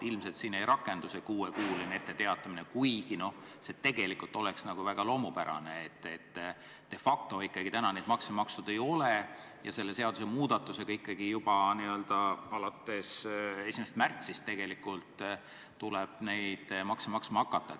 Ilmselt siin ei rakendu see kuuekuuline etteteatamine, kuigi see tegelikult oleks väga loomupärane, sest de facto ikkagi neid makse makstud ei ole ja selle seadusemuudatuse tõttu juba alates 1. märtsist tuleb neid maksma hakata.